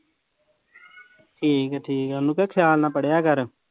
ਠੀਕ ਆ ਠੀਕ ਆ, ਉਹਨੂੰ ਕਹਿ ਖਿਆਲ ਨਾਲ ਪੜ੍ਹਿਆ ਕਰ।